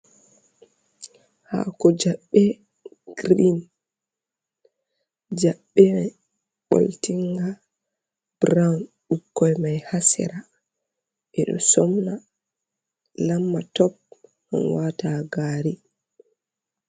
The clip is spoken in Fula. Hako jaɓɓe grin, jaɓɓe mai ɓoltinga brawn, ɓukkon mai ha sera, ɓe ɗo somna lamatop on wata ha gari.